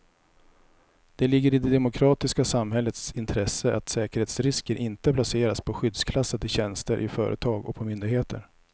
Det ligger i det demokratiska samhällets intresse att säkerhetsrisker inte placeras på skyddsklassade tjänster i företag och på myndigheter.